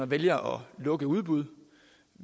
vælger at lukke udbud